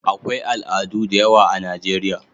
akwai al'adu da yawa a Najeriya